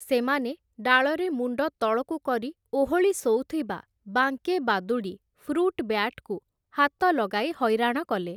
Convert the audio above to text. ସେମାନେ ଡାଳରେ ମୁଣ୍ଡ ତଳକୁ କରି ଓହଳି ଶୋଉଥିବା ବାଙ୍କେ ବାଦୁଡ଼ି ଫ୍ରୁଟ୍ ବ୍ୟାଟ୍‌କୁ ହାତ ଲଗାଇ ହଇରାଣ କଲେ ।